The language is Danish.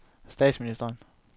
statsministeren